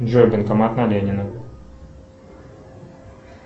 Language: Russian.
джой банкомат на ленина